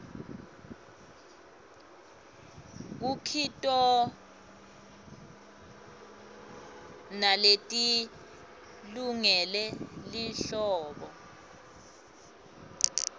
kukitona leti lungele lihlobo